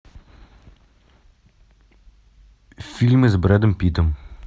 фильмы с брэдом питтом